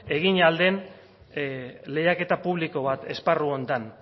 egin ahal den lehiaketa publiko bat esparru honetan